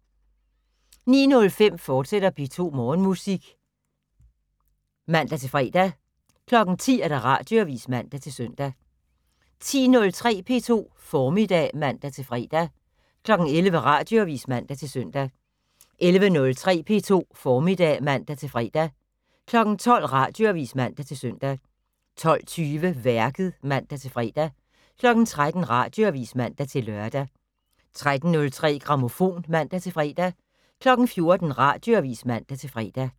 09:05: P2 Morgenmusik, fortsat (man-fre) 10:00: Radioavis (man-søn) 10:03: P2 Formiddag (man-fre) 11:00: Radioavis (man-søn) 11:03: P2 Formiddag (man-fre) 12:00: Radioavis (man-søn) 12:20: Værket (man-fre) 13:00: Radioavis (man-lør) 13:03: Grammofon (man-fre) 14:00: Radioavis (man-fre)